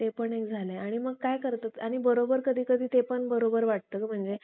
ते पण एक झालंय आणि मग काय करतो कि आणि बरोबर कधी कधी ते पण बरोबर वाटत कि म्हणजे